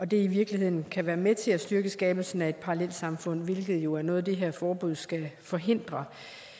det i virkeligheden kan være med til at styrke skabelsen af et parallelsamfund hvilket jo er noget det her forbud skal forhindre